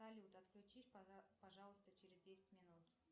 салют отключись пожалуйста через десять минут